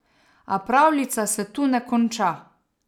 A pravljica se tu ne konča.